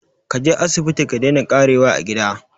Kaje asibiti ka daina ƙarewa a gida